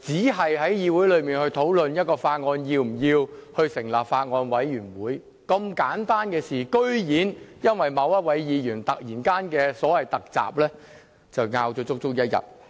只在議會內討論是否要就一項法案成立法案委員會，本來是如此簡單的事情，但居然因為某位議員"突襲"，而爭拗了足足一天。